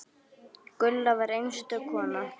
Gulla var einstök kona.